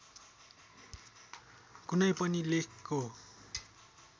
कुनै पनि लेखको